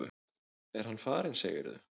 Er hann farinn, segirðu?